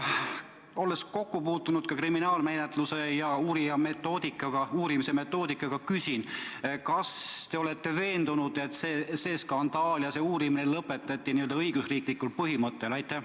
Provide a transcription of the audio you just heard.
Olles kokku puutunud ka kriminaalmenetluse ja uurimise metoodikaga, küsin: kas te olete veendunud, et see skandaal ja uurimine lõpetati õigusriiklikul põhimõttel?